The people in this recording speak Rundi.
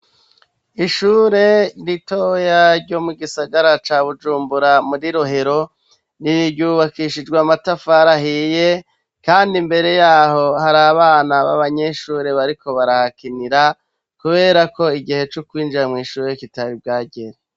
Ishure ritoya ryo mu gisagara ca Bujumbura muri Rohero, ryubakishijwe amatafari ahiye kandi imbere yaho hari abana babanyeshure bariko barahakinira kuberako igihe co kwinjira mw'ishure kitari bwagere.